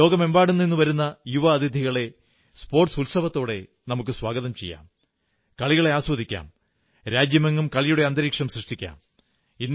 ലോകമെമ്പാടും നിന്നുവരുന്ന യുവ അതിഥികളെ കായിക ഉത്സവത്തോടെ സ്വാഗതം ചെയ്യാം കളികളെ ആസ്വദിക്കാം രാജ്യമെങ്ങും കളിയുടെ അന്തരീക്ഷം സൃഷ്ടിക്കാം